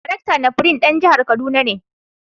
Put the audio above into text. Daraktan NAPRI dan jihar Kaduna ne.